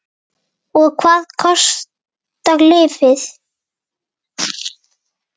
Lóa: Og hvað kostar lyfið?